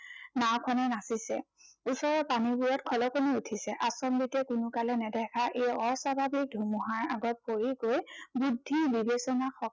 নাওঁখনে নাচিছে। ওচৰৰ পানীবোৰত খলকনি উঠিছে। আচম্বিতে কোনোকালে নেদেখা এই অস্বাভাৱিক ধুমুহাৰ আগত পৰি গৈ বুদ্ধি বিবেচনা